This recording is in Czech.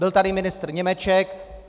Byl tady ministr Němeček.